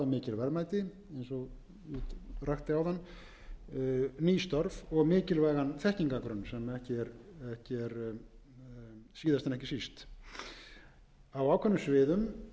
verðmæti eins og ég rakti áðan fjölda nýrra starfa og mikilvægan þekkingargrunn síðast en ekki síst á ákveðnum sviðum